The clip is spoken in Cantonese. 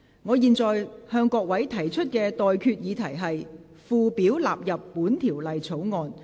我現在向各位提出的待決議題是：附表納入本條例草案。